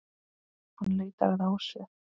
Hann leitar að Ásu.